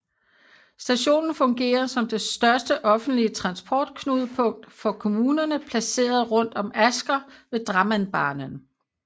Stationen fungerer som det største offentlige transportknudepunkt for kommunerne placeret rundt om Asker ved Drammenbanen